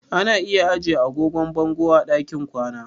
Ana iya ajiye agogon bango a ɗakin kwana.